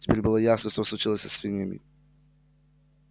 теперь было ясно что случилось со свиньями